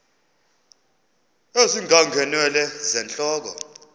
ezinga ngeenwele zentloko